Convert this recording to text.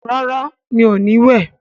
rà rá mi'o ní wẹ.